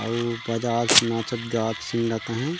अउ बजात नाचत-गायत सीन लत अ हे ।